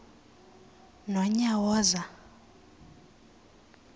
nonyawoza